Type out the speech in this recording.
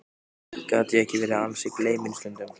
Gat ég ekki verið ansi gleyminn stundum?